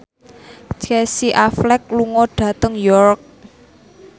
Casey Affleck lunga dhateng York